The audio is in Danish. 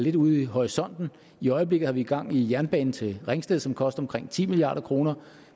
lidt ude i horisonten i øjeblikket har vi gang i en jernbane til ringsted som koster omkring ti milliard kroner